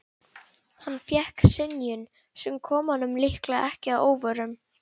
Hann fékk synjun, sem kom honum líklega ekki að óvörum.